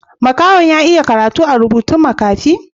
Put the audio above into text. Makaho'n ya iya karatu a'rubutun makafi?